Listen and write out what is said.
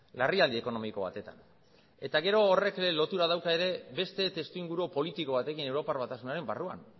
larrialdi ekonomiko batetan eta gero horrek lotura dauka ere beste testuinguru politiko batekin europar batasunaren barruan